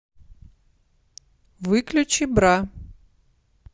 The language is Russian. выключи бра